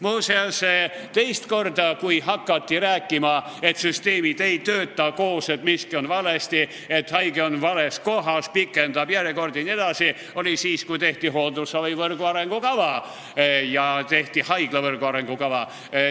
Muuseas, teist korda hakati rääkima, et süsteemid koos ei tööta, et miski on valesti, haige on vales kohas, pikendab järjekordi jne, siis, kui tehti hooldusravivõrgu arengukava ja haiglavõrgu arengukava.